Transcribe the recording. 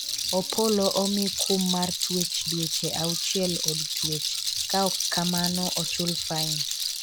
Opollo omi kum mar twech dweche auchiel od twech ka ok kamano ochul fain